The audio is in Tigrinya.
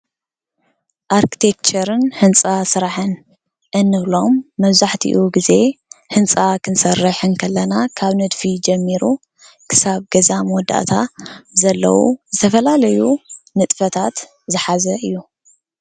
ኣርክቴክቸርን ህንፃ ስራሕን እንብሎም መብዛሕትኡ ግዜ ህንፃ ክንሰርሕ እንተለና ካብ ነድፊ ጀሚሩ ክሳብ ገዛ መወዳእታ ዘለዎ ዝተፈላለዩ ንጥፈታት ዝሓዘ እዩ፡፡